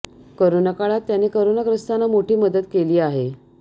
corona काळात त्याने corona ग्रस्तांना मोठी मदत केली आहे